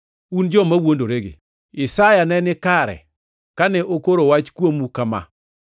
Un joma wuondoregi! Isaya ne ni kare kane okoro wach kuomu kama: